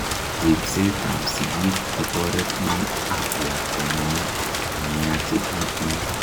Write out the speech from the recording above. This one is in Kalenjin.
ripset ab sigik kotoretin ak lakwengung omiachegitu